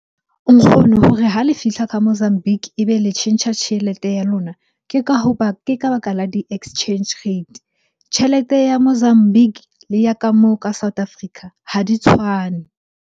Nkgono hore ha le fihla Mozambique e be le tjhentjha tjhelete ya lona ke ka hoba, ke ka baka la di-exchange rate. Tjhelete ya Mozambique le ya ka mo ka South Africa ha di tshwane.